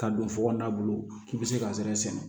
Ka don fokon na bolo k'i be se ka sɛnɛ